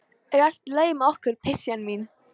Er allt í lagi með okkur, pysjan mín?